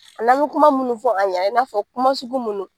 Ani bi kuma munnu fɔ a ɲɛna, i n'a fɔ kuma sugu munnu